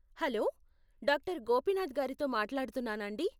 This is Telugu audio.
హలో, డాక్టర్ గోపీనాథ్ గారితో మాట్లాడుతున్నానాండీ?